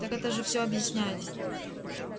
так это же всё объясняет